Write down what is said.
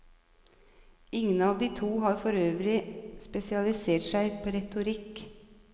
Ingen av de to har forøvrig spesialisert seg på retorikk.